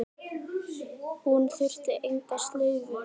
Hún þurfti enga slaufu.